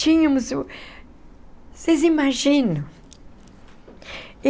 Tínhamos o... Vocês imaginam?